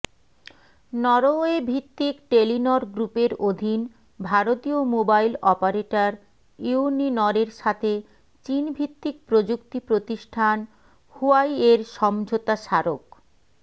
নরওয়েভিত্তিক Telenor গ্রুপের অধীন ভারতীয় মোবাইল অপারেটর ইউনিনরের সাথে চীনভিত্তিক প্রযুক্তি প্রতিষ্ঠান হুয়াইয়ের সমোঝাতা স্বারক